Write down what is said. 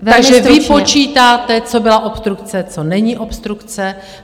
Takže vy počítáte, co byla obstrukce, co není obstrukce.